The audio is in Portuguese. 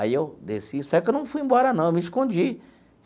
Aí eu desci, só que eu não fui embora, não, eu me escondi.